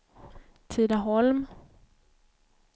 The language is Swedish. Tidaholm